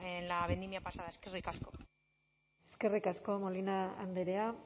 en la vendimia pasada eskerrik asko eskerrik asko molina andrea